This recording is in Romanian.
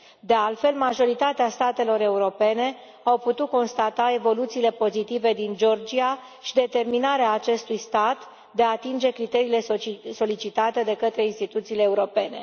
De altfel, majoritatea statelor europene au putut constata evoluțiile pozitive din Georgia și determinarea acestui stat de a atinge criteriile solicitate de către instituțiile europene.